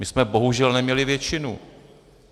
My jsme bohužel neměli většinu.